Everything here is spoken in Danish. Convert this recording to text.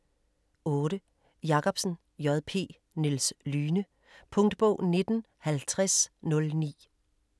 8. Jacobsen, J. P.: Niels Lyhne Punktbog 195009